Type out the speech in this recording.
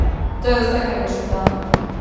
To je vse, kar boš izdal?